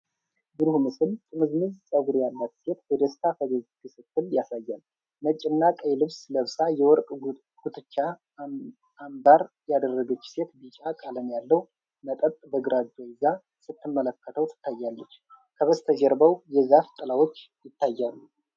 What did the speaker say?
ይህ ብሩህ ምስል ጥምዝምዝ ፀጉር ያላት ሴት በደስታ ፈገግ ስትል ያሳያል። ነጭና ቀይ ልብስ ለብሳ፣ የወርቅ ጉትቻና አምባር ያደረገች ሴት ቢጫ ቀለም ያለው መጠጥ በግራ እጇ ይዛ ስትመለከተው ትታያለች፤ ከበስተጀርባው የዛፍ ጥላዎች ይታያሉ።